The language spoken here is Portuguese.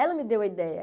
Ela me deu a ideia.